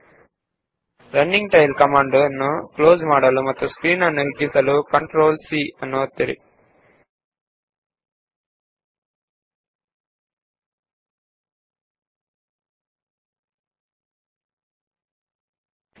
ಕಾರ್ಯನಿರತವಾಗಿರುವ tail command ನ್ನು close ಮಾಡಲು CTRL C ಒತ್ತಿ ಮತ್ತು ಸ್ಕ್ರೀನ್ ನ್ನು ದೊಡ್ಡದು ಮಾಡಿ